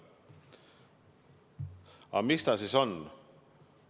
Aga mis ta siis on?